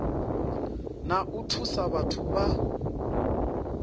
na u thusa vhathu vha